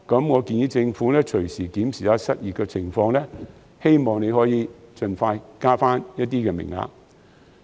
我建議政府隨時檢視失業的情況，希望可以盡快增加名額。